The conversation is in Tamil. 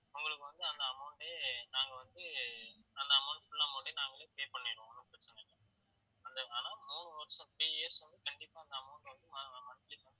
உங்களுக்கு வந்து அந்த amount ஏ நாங்க வந்து அந்த amount full amount நாங்களே pay பண்ணிடுவோம், ஒண்ணும் பிரச்னை இல்ல அந்த ஆனா மூணு வருஷம் three years வந்து கண்டிப்பா அந்த amount அ வந்து mo~ monthly monthly